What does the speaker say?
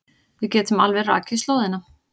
Við getum alveg rakið slóðina.